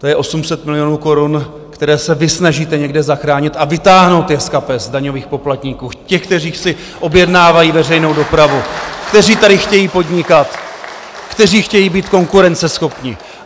To je 800 milionů korun, které se vy snažíte někde zachránit a vytáhnout je z kapes daňových poplatníků, těch, kteří si objednávají veřejnou dopravu , kteří tady chtějí podnikat, kteří chtějí být konkurenceschopní.